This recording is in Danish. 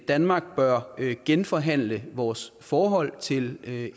danmark bør genforhandle vores forhold til